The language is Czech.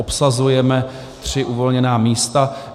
Obsazujeme tři uvolněná místa.